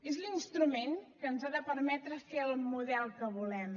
és l’instrument que ens ha de permetre fer el model que volem